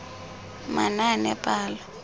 manaanepalo